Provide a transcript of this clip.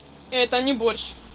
это не борщ